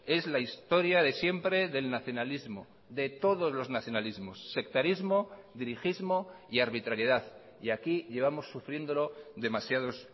es la historia de siempre del nacionalismo de todos los nacionalismos sectarismo dirigismo y arbitrariedad y aquí llevamos sufriéndolo demasiados